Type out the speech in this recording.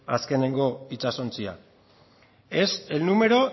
azkeneko itsasontzia es el número